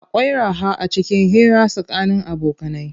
Akwai raha acikin hira tsakanin abokanai.